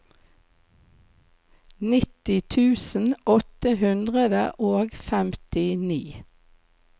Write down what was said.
nitti tusen åtte hundre og femtini